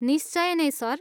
निश्चय नै, सर।